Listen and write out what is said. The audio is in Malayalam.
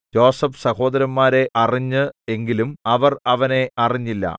യോസേഫ് സഹോദരന്മാരെ അറിഞ്ഞ് എങ്കിലും അവർ അവനെ അറിഞ്ഞില്ല